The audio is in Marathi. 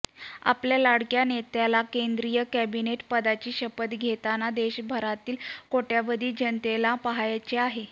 आपल्या लाडक्या नेत्याला केंद्रीय कॅबिनेट पदाची शपथ घेताना देशभरातील कोट्यावधी जनतेला पाहायचे आहे